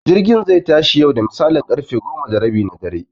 Jirgi zai tashi yau da misalin ƙarfe goma da rabi na dare